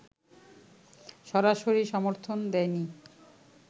সরাসরি সমর্থন দেয়নি